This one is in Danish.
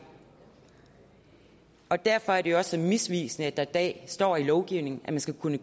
og derfor er det jo også misvisende at der i dag står i lovgivningen at det skal kunne